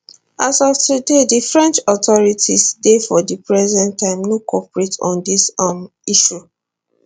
as of today di french authorities dey for di present time no cooperate on dis um issue